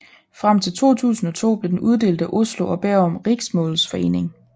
Frem til 2002 blev den uddelt af Oslo og Bærum Riksmålsforening